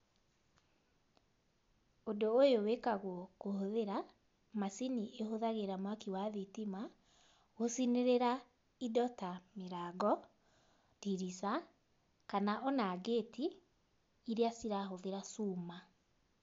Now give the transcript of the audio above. Ũndũ ũyũ wĩkagwo kũhũthĩra macini ĩhũthagĩra mwaki wa thitima, gũcinĩrĩra indo ta mĩrango, ndirica, kana o na ngĩti, iria cirahũthĩra cuma.